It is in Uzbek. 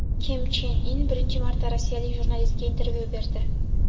Kim Chen In birinchi marta rossiyalik jurnalistga intervyu berdi.